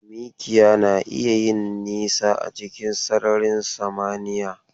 Mikiya na iya yin nisa a cikin sararin samniya.